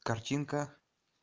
картинка